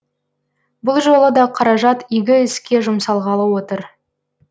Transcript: бұл жолы да қаражат игі іске жұмсалғалы отыр